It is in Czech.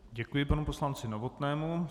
Děkuji panu poslanci Novotnému.